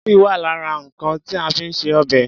Tòmátì wà lára nǹkan ti a fi ń ṣe obẹ̀.